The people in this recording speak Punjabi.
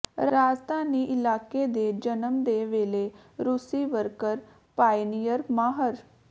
ਰਾਜਧਾਨੀ ਇਲਾਕੇ ਦੇ ਜਨਮ ਦੇ ਵੇਲੇ ਰੂਸੀ ਵਰਕਰ ਪਾਇਨੀਅਰ ਮਾਹਰ